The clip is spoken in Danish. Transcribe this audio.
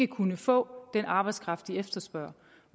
kunnet få den arbejdskraft de efterspørger